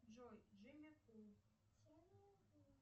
джой джимми кул